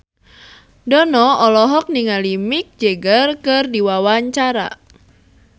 Dono olohok ningali Mick Jagger keur diwawancara